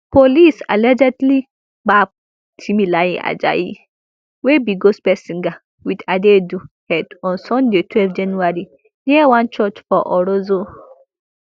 police allegedly gbab timileyin ajayi wey be gospel singer wit adaidu head on sunday twelve january near one church for orozo